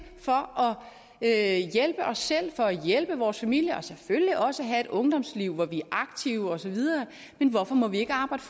for at hjælpe os selv for at hjælpe vore familier og selvfølgelig også have et ungdomsliv hvor vi er aktive osv men hvorfor må vi ikke arbejde